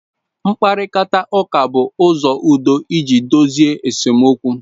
Mkparịta ụka bụ ụzọ udo iji dozie esemokwu.